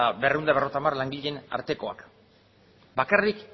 berrehun eta berrogeita hamar langileen artekoak bakarrik